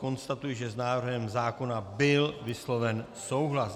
Konstatuji, že s návrhem zákona byl vysloven souhlas.